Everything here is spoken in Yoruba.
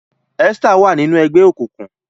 Esther wa nínú ègbé òkùnkùn.